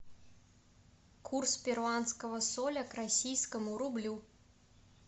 курс перуанского соля к российскому рублю